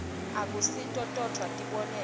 akusito todvwa tibonelo